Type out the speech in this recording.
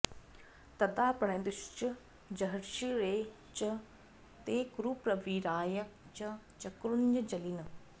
तदा प्रणेदुश्च जहर्षिरे च ते कुरुप्रवीराय च चक्रुरञ्जलीन्